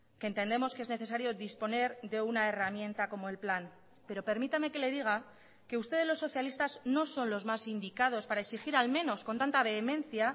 que entendemos que es necesario disponer de una herramienta como el plan pero permítame que le diga que ustedes los socialistas no son los más indicados para exigir al menos con tanta vehemencia